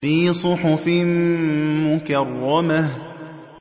فِي صُحُفٍ مُّكَرَّمَةٍ